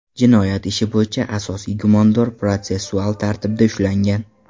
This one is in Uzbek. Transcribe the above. Jinoyat ishi bo‘yicha asosiy gumondor protsessual tartibda ushlangan.